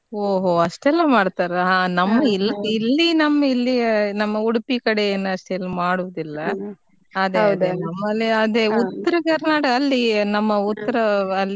ಹೋ ಹೋ ಅಷ್ಟೆಲ್ಲಾ ಮಾಡ್ತಾರ ನಮ್ಮ ಇಲ್ಲಿ ನಮ್ ಇಲ್ಲಿ ನಮ್ಮ Udupi ಕಡೆ ಏನು ಅಷ್ಟೇನೂ ಮಾಡುದಿಲ್ಲ ಅದೇ ನಮ್ಮಲ್ಲಿ ಅದೇ ಉತ್ತರ Karnataka ದಲ್ಲಿ ಅಲ್ಲಿ ನಮ್ಮ ಉತ್ತರ ಅಲ್ಲಿ.